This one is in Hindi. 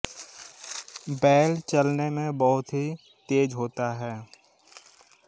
बैल चलने में बहुत ही तेज होता है